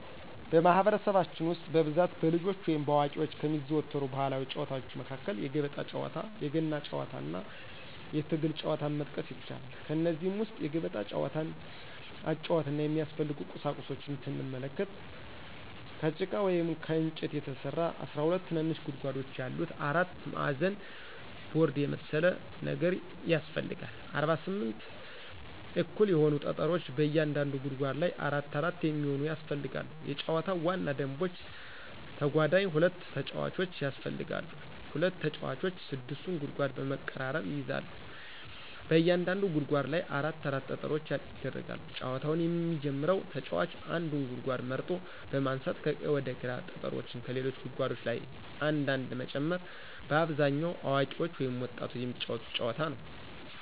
በማህበረሰባችን ውስጥ በብዛት በልጆች ወይም በአዋቂዎች ከሚዘወተሩ ባህላዊ ጨዋታዎች መካከል የገበጣ ጨዋታ፣ የገና ጨዋታና የትግል ጨዋታን መጥቀስ ይቻላል። ከእነዚህም ውስጥ የገበጣ ጨዋታን አጨዋወትና የሚያስፈልጉ ቁሳቁሶችን ስንመለከት፦ ከጭቃ ወይም ከእንጨት የተሰራ 12 ትንንሽ ጉድጓዶች ያሉት አራት ማዕዘን ቦርድ የመሰለ ነገር ያሰፈልጋል፣ 48 እኩል የሆኑ ጠጠሮች በእያንዳንዱ ጉድጓድ ላይ አራት አራት የሚሆኑ ያስፈልጋሉ የጨዋታው ዋና ደንቦች ተጓዳኝ ሁለት ተጫዋቾች ያስፈልጋሉ፣ ሁለት ተጫዋቾች 6ቱን ጉድጓድ በመቀራረብ ይይዛሉ፣ በእያንዳንዱ ጉድጓድ ላይ አራት አራት ጠጠሮች ይደረጋሉ፣ ጨዋታውን የሚጀመረው ተጫዋች አንዱን ጉድጓድ መርጦ በማንሳት ከቀኝ ወደ ግራ ጠጠሮችን ከሌሎች ጉድጓዶች ላይ አንድ አንድ መጨመር። በአብዛኛው አዋቂዎች ወይም ወጣቶች የሚጫወቱት ጨዋታ ነዉ።